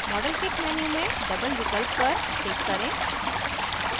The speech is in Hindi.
modelkit menu में double विकल्प पर टिक करें